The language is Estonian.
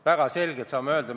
Väga selgelt saame öelda.